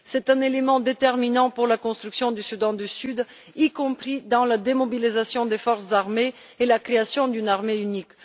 C'est un élément déterminant pour la construction du Soudan du Sud, y compris dans la démobilisation des forces armées et la création d'une armée unique.